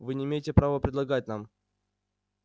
вы не имеете права предлагать нам